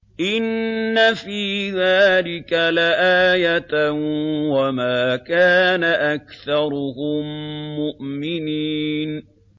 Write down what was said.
إِنَّ فِي ذَٰلِكَ لَآيَةً ۖ وَمَا كَانَ أَكْثَرُهُم مُّؤْمِنِينَ